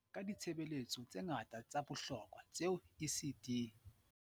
Ka ditshebeletso tse ngata tsa bohlokwa tseo ECD.